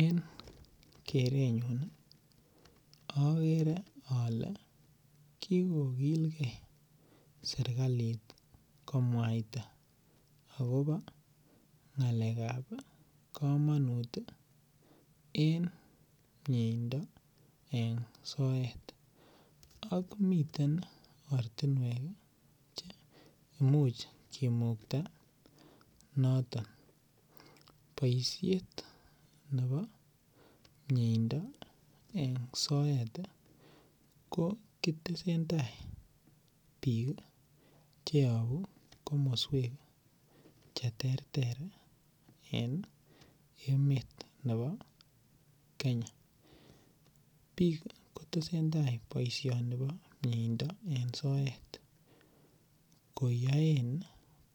En kerenyun agere ale kigokilge sergalit komwaita agobo ngakekab kamanut en mieindo en soet ak miten ortinwek che imuch kimukta notok. Boisiet nebo miendo eng soet ko kitesen ndai biik che yabu komoswek cheterter en emet nebo Kenya. Biik kotesen tai boisioni bo mieindo en soet koyaen